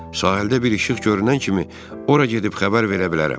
Sahildə bir işıq görünən kimi ora gedib xəbər verə bilərəm.